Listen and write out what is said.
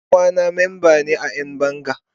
Dan uwana memba ne a Yan banga.